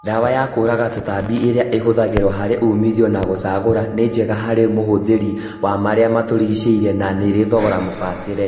Ndawa ya kũraga tũtambi ĩrĩa ĩhũthagĩrwo harĩ umithio na gũcagũra, ni njega harĩ mũhũthĩri wa maria matũrigicĩirie na nĩrĩ thogora mũbacĩrĩre